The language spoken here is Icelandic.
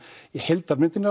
heildarmyndin